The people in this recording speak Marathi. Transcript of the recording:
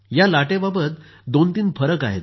या लाटेबाबत दोन तीन फरक आहेत